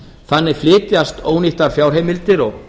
þannig flytjast ónýttar fjárheimildir og